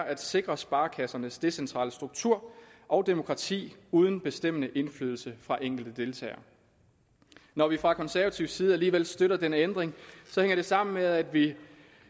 at sikre sparekassernes decentrale struktur og demokrati uden bestemmende indflydelse fra enkelte deltagere når vi fra konservativ side alligevel støtter denne ændring hænger det sammen med at vi